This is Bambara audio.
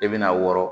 I bɛna wɔrɔ